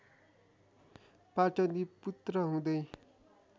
पाटली पुत्र हुँदै